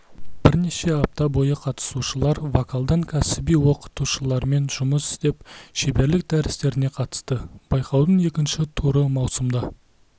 бірнеше апта бойы қатысушылар вокалдан кәсіби оқытушылармен жұмыс істеп шеберлік дәрістеріне қатысты байқаудың екінші туры маусымда